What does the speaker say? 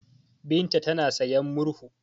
Binta tana sayan murhu.